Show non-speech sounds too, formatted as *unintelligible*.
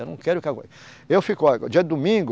Eu não quero, *unintelligible* eu fico, olha, dia de domingo,